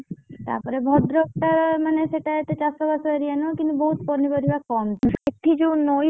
ତା ପରେ ଭଦ୍ରକଟା ମାନେ ସେଇଟା ଏତେ ଚାଷ ବାସ area ନୁହଁ କିନ୍ତୁ ପନିପରିବା ଫଳାନ୍ତି। ସେଠି ଯଉଁ ନଇ